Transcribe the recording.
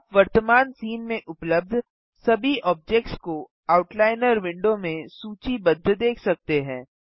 आप वर्तमान सीन में उपलब्ध सभी ऑब्जेक्ट्स को आउटलाइनर विंडो में सूचीबद्ध देख सकते हैं